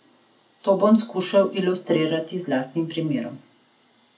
To bom skušal ilustrirati z lastnim primerom.